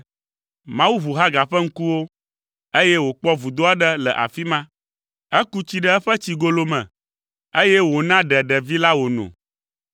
Mawu ʋu Hagar ƒe ŋkuwo, eye wòkpɔ vudo aɖe le afi ma. Eku tsi ɖe eƒe tsigolo me, eye wòna ɖe ɖevi la wòno.